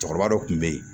Cɛkɔrɔba dɔ kun be yen